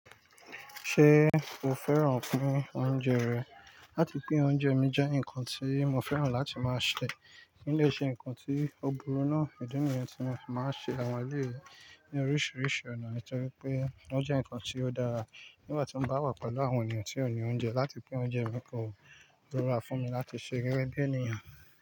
Ṣé o fẹ́ràn pín oúnjẹ rẹ̀? Látì pín oúnjẹ mi jẹ́ ǹkan tí mo fẹ́ràn láti máa ṣe kí dé ṣe ǹkan tí ó burú náà. Idi nìyẹn tí mo fi máa ń ṣe àwọn eléyi ní oríṣiríṣi ọ̀nà nítorí pé wón jẹ́ ǹkan tí ó dára nígbà tí mo bá wà pẹ̀lú àwọn ènìyàn tí ó ní oúnjẹ láti pín oúnjẹ mi kọ, ó dára fún mi láti ṣe gege bí ènìyàn.